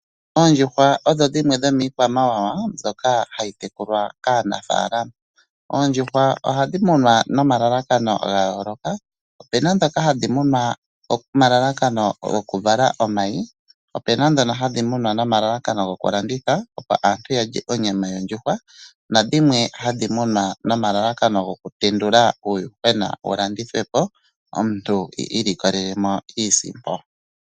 Oondjuhwa odho dhimwe dhoomikwamawawa mbyoka hayi tekulwa kaanafaalama. Oondjuhwa ohadhi munwa nomalalakano ga yooloka, opena dhoka hadhi munwa nomalalakano goku vala omayi, opena dhono hadhi munwa nomalalakano goku landitha opo aantu yalye onyama yondjuhwa, nadhimwe hadhi munwa nomalalakano goku tendula uuyuhwena wu landithwepo, omuntu i ilikolelemo iisimpo.